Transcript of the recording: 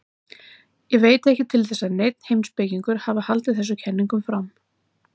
Ég veit ekki til að neinn heimspekingur hafi haldið þessum kenningum fram.